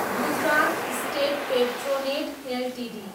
Gujarat state Petronet Ltd